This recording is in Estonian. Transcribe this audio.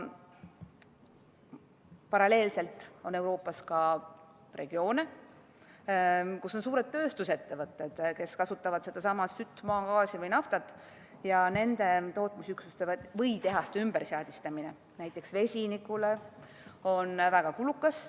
Paralleelselt on Euroopas ka regioone, kus on suured tööstusettevõtted, kes kasutavad sedasama sütt, maagaasi või naftat, ja nende tootmisüksuste või tehaste ümberseadistamine näiteks vesinikule on väga kulukas.